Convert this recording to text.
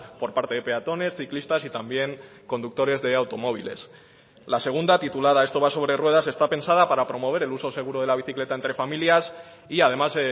por parte de peatones ciclistas y también conductores de automóviles la segunda titulada esto va sobre ruedas está pensada para promover el uso seguro de la bicicleta entre familias y además